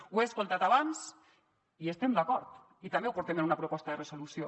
ho he sentit abans i hi estem d’acord i també ho portem en una proposta de resolució